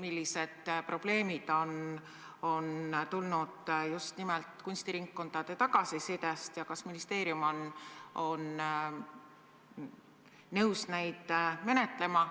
Osa probleeme on ilmsiks tulnud just nimelt kunstiringkondade tagasisidest ja kas ministeerium on nõus neid ettepanekuid arutama?